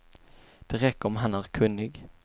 Det räcker om han är kunnig.